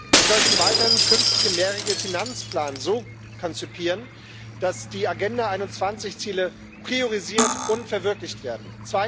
Wir sollten weiterhin den künftigen mehrjährigen Finanzplan so konzipieren, dass die Agenda 21 Ziele priorisiert und verwirklicht werden.